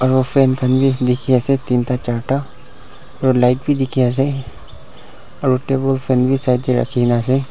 aro fan khan bi dikhiase teen ta charta aro light bi dikhiase aro table fan bi side tae rakhinaase.